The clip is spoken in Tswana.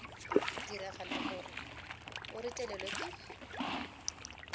diragala gore o retelelwe ke